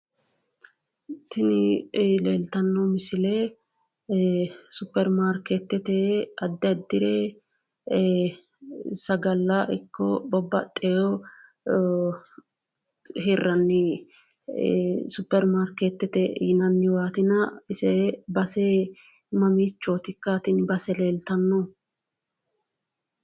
Tini leeltanno misile supperimaarkeettete addi addire sagalla ikko babbaxxiwo hirranni supperimaarkeettete yinanniwaatina ise base mamiichootikka tini base leeltannohu?